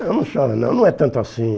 Não não chora não, não é tanto assim.